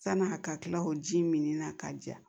San'a ka kila o ji mini na ka ja